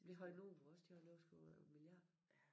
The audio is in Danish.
Vi havde nogle på ros de har et overskud på over en milliard